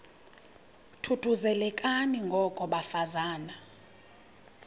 thuthuzelekani ngoko bafazana